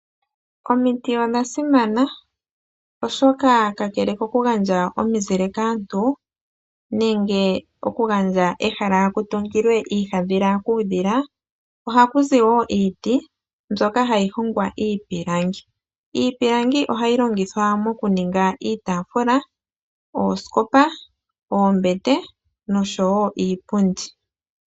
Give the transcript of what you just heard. Omiti odha simana, oshoka kakele koku gandja omizile kaantu, nenge oku gandja ehala ku tungilwe iihaadhila kuudhila ohaku zi wo iiti mbyoka hayi hongwa iipilangi. Iipilangi ohayi longithwa mokuninga iitafula, ooskopa, oombete noshowo iipundi.